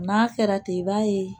N'a fɛɛrɛ te i b'a ye